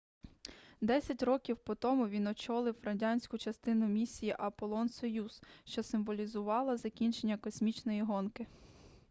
десять років по тому він очолив радянську частину місії аполлон-союз що символізувала закінчення космічної гонки